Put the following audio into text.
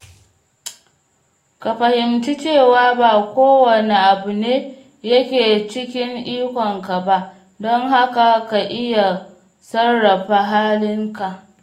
Ka fahimci cewa ba kowanne abu ne yake cikin ikonka ba, don haka ka iya sarrafa halinka.